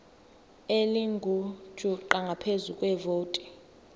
elingujuqu ngaphezu kwevoti